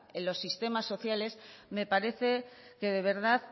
en los sistemas sociales me parece que de verdad